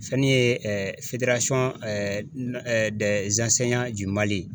Fɛn min ye